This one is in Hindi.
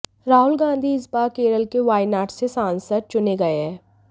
राहुल गांधी इस बार केरल के वायनाड से सांसद चुने गए हैं